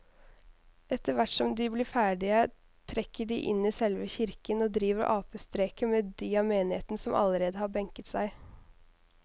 Etterthvert som de blir ferdige trekker de inn i selve kirken og driver apestreker med de av menigheten som allerede har benket seg.